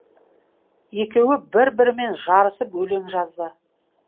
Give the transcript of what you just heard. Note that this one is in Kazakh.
екеуі бір бірімен жарысып өлең жазды